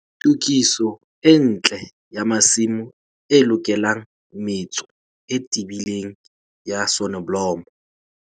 Tokiso e ntle ya masimo e lokelang metso e tebileng ya soneblomo.